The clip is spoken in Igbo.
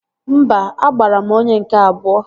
Mba, agbara m onye nke abụọ